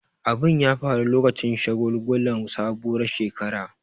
Abun ya faru lokacin shagulgulan sabuwar shekara.